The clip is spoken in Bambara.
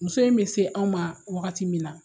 Muso in bɛ se anw ma waagati min na.